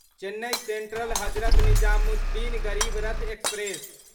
Chennai Central Hazrat Nizamuddin Garib Rath express